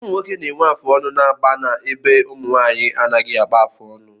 Ụmụnwoke na-enwe afụ ọnụ n'agba ebe ụmụnwaanyị anaghị agba afụ ọnụ